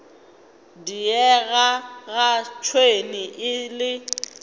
diega ga tšhwene e le